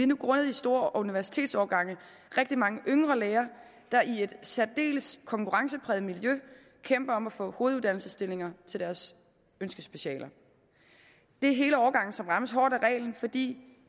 nu grundet de store universitetsårgange rigtig mange yngre læger der i et særdeles konkurrencepræget miljø kæmper om at få hoveduddannelsesstillinger til deres ønskespecialer det er hele årgangen som rammes hårdt af reglen fordi